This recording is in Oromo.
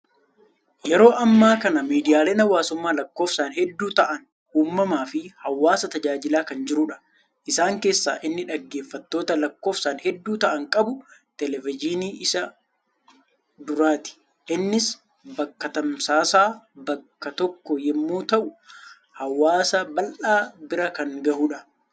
Yeroo ammaa kana miidiyaaleen hawaasummaa lakkoofsaan hedduu ta'an uumamaa fi hawaasa tajaajilaa kan jirudha. Isaan keessaa inni dhaggeeffattoota lakkoofsaan hedduu ta'an qabu, televenyiiniin isa duraati. Innis bakka tamsaasaa bakka tokkoo yemmuu ta'u hawaasa bal'aa bira kan gahudha.